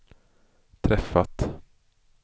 träffat